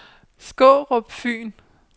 Skårup Fyn